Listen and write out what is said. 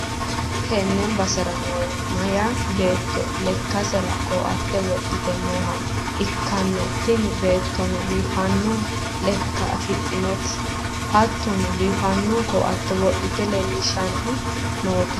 tenne basera noori meyaa beetto lekkasera ko'atte wodhite nooha ikkanna, tini beettono biiffanno lekka afidhinoti hattono, biifanno ko'atte wodhite leellishshanni noote.